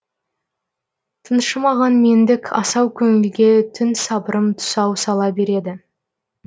тыншымаған мендік асау көңілге түн сабырым тұсау сала береді